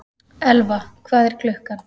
Elfa, hvað er klukkan?